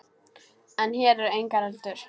En hér eru engar öldur.